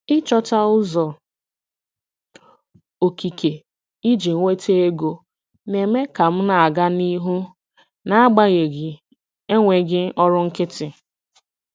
Ịchọta ụzọ okike iji nweta ego na-eme ka m na-aga n'ihu n'agbanyeghị enweghị ọrụ nkịtị.